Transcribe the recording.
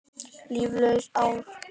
Líflaus ár.